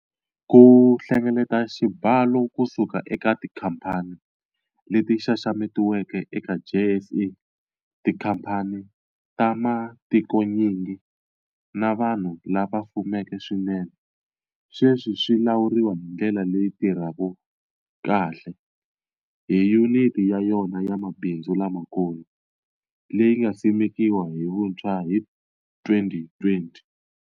Ku hlengeleta xibalo kusuka eka tikhamphani leti xaxametiweke eka JSE, tikhamphani ta matikonyingi, na vanhu lava fumeke swinene sweswi swi lawuriwa hi ndlela leyi tirhaka kahle hi Yuniti ya yona ya Mabindzu Lamakulu, leyi nga simekiwa hi vuntshwa hi 2020.